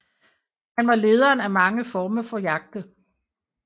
Han var lederen af mange former for jagte